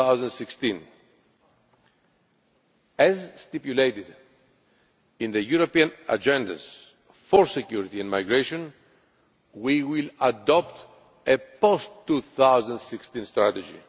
in 2016. As stipulated in the European Agendas for security and for Migration, we will adopt a post 2016 strategy.